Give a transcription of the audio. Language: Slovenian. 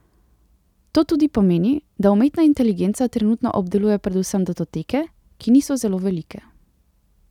To tudi pomeni, da umetna inteligenca trenutno obdeluje predvsem datoteke, ki niso zelo velike.